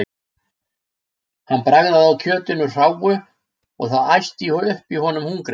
Hann bragðaði á kjötinu hráu- það æsti upp í honum hungrið.